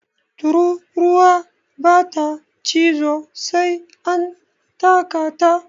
Tururuwa ba ta cizo sai an taka ta